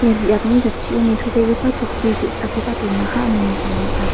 ia biapni jatchio nitobegipa chokki ge·sakoba donaha ine nikna man·a.